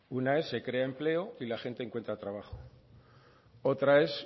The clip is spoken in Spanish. una es se crea empleo y la gente encuentro trabajo otra es